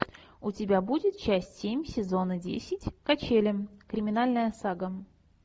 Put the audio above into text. у тебя будет часть семь сезона десять качели криминальная сага